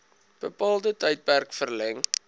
bepaalde tydperk verleng